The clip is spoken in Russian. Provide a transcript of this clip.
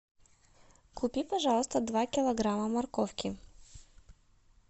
купи пожалуйста два килограмма морковки